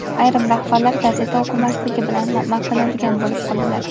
ayrim rahbarlar gazeta o‘qimasligi bilan maqtanadigan bo‘lib qoldilar.